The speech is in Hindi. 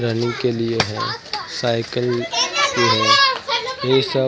रनिंग के लिए है साइकिल की है ये यह सब--